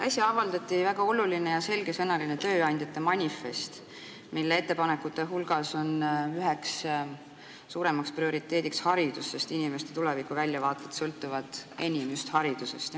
Äsja avaldati väga oluline ja selgesõnaline tööandjate manifest, mille ettepanekute hulgas on üheks suurimaks prioriteediks haridus, sest inimeste tulevikuväljavaated sõltuvad enim just haridusest.